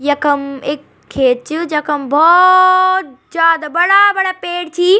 यखम एक खेत च जखम भौ-औ-औ-त जादा बड़ा-बड़ा पेड़ छी।